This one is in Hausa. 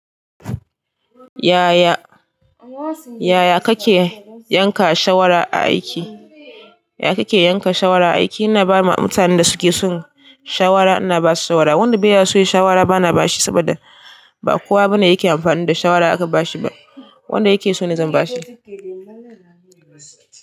Yaya, yaya kake yanka shawara a aiki? Ina ba ma mutanen da suke son shawara, ina basu shawara. Wanda beya so ya shawara bana bashi saboda ba kowa bane yake amfani da shawara aka bashi ba. Wanda yake so ne zan bashi.